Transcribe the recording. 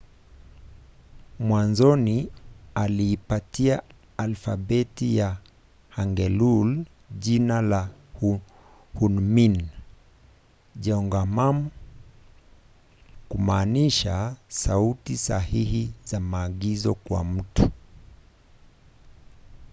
mwanzoni aliipatia alfabeti ya hangeul jina la hunmin jeongeum kumaanisha sauti sahihi za maagizo kwa watu